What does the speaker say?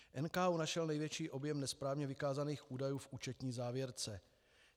NKÚ našel největší objem nesprávně vykázaných údajů v účetní závěrce.